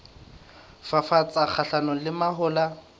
ho fafatsa kgahlanong le mahola